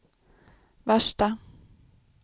värsta